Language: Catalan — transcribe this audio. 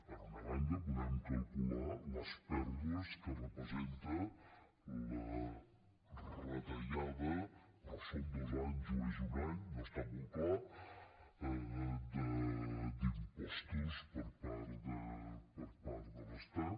per una banda podem calcular les pèrdues que representa la retallada però són dos anys o és un any no està molt clar d’impostos per part de l’estat